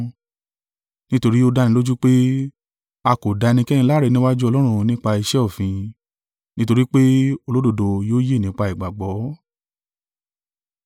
Nítorí ó dánilójú pé, a kò dá ẹnikẹ́ni láre níwájú Ọlọ́run nípa iṣẹ́ òfin: nítorí pé, “Olódodo yóò yè nípa ìgbàgbọ́.”